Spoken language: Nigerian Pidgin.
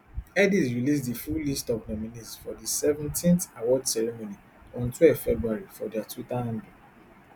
headies release di full list of nominees for di seventeenth award ceremony on twelve february for dia twitter handle